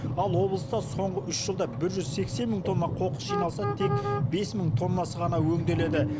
ал облыста соңғы үш жылда бір жүз сексен мың тонна қоқыс жиналса тек бес мың тоннасы ғана өңделеді